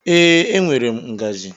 Ee, enwere m ngaji